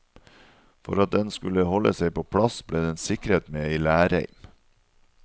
For at den skulle holde seg på plass, ble den sikret med ei lærreim.